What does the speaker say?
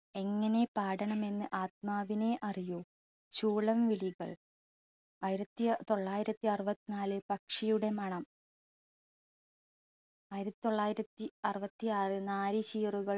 എങ്ങനെ പാടണമെന്ന് ആത്മാവിനെ അറിയൂ, ചൂളം വിളികൾ ആയിരത്തി തൊള്ളായിരത്തി അറുപത്തിനാലിൽ പക്ഷിയുടെ മണം, ആയിരത്തി തൊള്ളായിരത്തി അറുപത്തിആറിൽ നാല് ചീറുകൾ